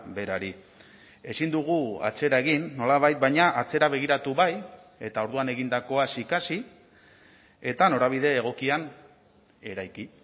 berari ezin dugu atzera egin nolabait baina atzera begiratu bai eta orduan egindakoaz ikasi eta norabide egokian eraiki